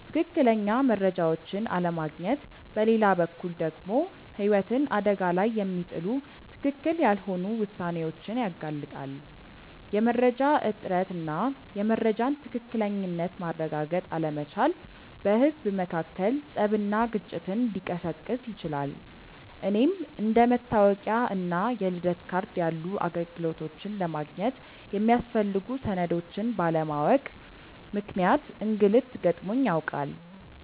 ትክክለኛ መረጃዎችን አለማግኘት በሌላ በኩል ደግሞ ህይወትን አደጋ ላይ የሚጥሉ ትክክል ያልሆኑ ውሳኔዎችን ያጋልጣል። የመረጃ እጥረት እና የመረጃን ትክክለኝነት ማረጋገጥ አለመቻል በህዝብ መካከል ፀብና ግጭትን ሊቀሰቅስ ይችላል። እኔም አንደ መታወቂያ እና የልደት ካርድ ያሉ አገልግሎቶችን ለማግኘት የሚያስፈልጉ ሰነዶችን ባለማወቅ ምክንያት እንግልት ገጥሞኝ ያውቃል።